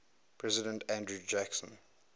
president andrew jackson